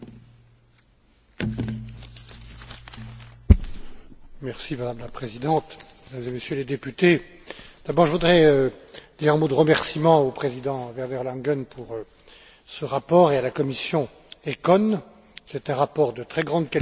Madame la Présidente, Mesdames et Messieurs les députés, d'abord je voudrais dire un mot de remerciement au président Werner Langen pour ce rapport et à la commission ECON. C'est un rapport de très grande qualité, économiquement et politiquement très important, et qui vient